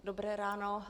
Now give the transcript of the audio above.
Dobré ráno.